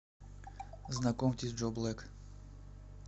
знакомьтесь джо блэк